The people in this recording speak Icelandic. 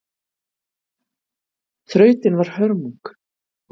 Þrautin var hörmung